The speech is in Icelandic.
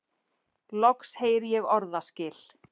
Loks heyri ég orðaskil.